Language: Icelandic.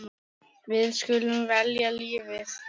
Við skulum velja lífið.